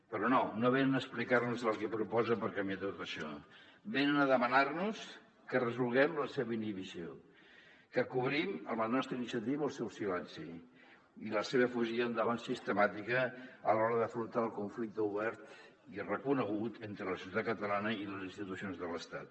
però no no venen a explicar·nos el que proposen per canviar tot això venen a demanar·nos que resolguem la seva inhibició que cobrim amb la nostra iniciativa el seu silenci i la seva fugida endavant sistemàtica a l’hora d’afrontar el conflicte obert i reconegut entre la societat catalana i les institucions de l’estat